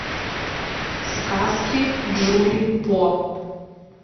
сказки джули по